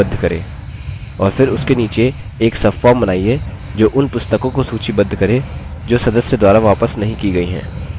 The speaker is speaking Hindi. और फिर उसके नीचे एक subform बनाइए जो उन पुस्तकों को सूचीबद्ध करे जो सदस्य द्वारा वापस नहीं की गयी हैं